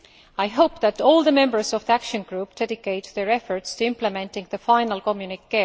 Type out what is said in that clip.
I hope that all the members of the Action Group dedicate their efforts to implementing the final communiqué.